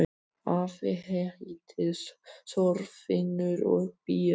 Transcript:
Afi heitir Þorfinnur og býr á